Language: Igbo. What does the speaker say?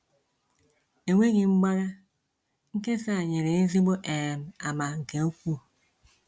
Enweghị mgbagha, nkesa a nyere ezigbo um àmà nke ukwuu.